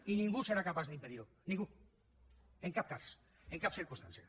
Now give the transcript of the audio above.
i ningú serà capaç d’impedir ho ningú en cap cas en cap circumstància